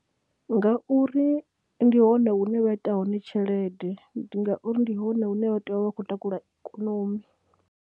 Ngauri ndi hone hune vha ita hone tshelede, ndi ngauri ndi hone hune vha tea u vha vha khou takula ikonomi.